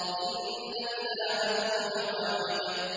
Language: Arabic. إِنَّ إِلَٰهَكُمْ لَوَاحِدٌ